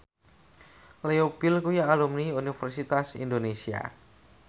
Leo Bill kuwi alumni Universitas Indonesia